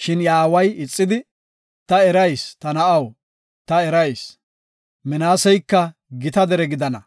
Shin iya aaway ixidi, “Ta erayis, ta na7aw, ta erayis. Minaaseyka gita dere gidana,